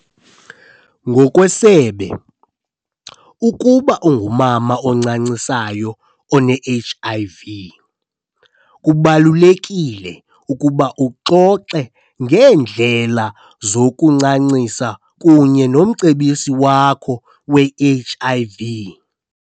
Ngokwesebe, ukuba ungumama oncancisayo one-HIV, kubalulekile ukuba uxoxe ngeendlela zokuncancisa kunye nomcebisi wakho we-HIV .